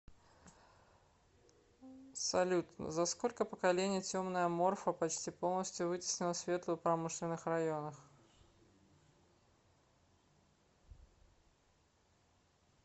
салют за сколько поколений темная морфа почти полностью вытеснила светлую в промышленных районах